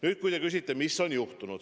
Nüüd, te küsite, mis on juhtunud.